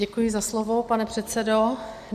Děkuji za slovo, pane předsedo.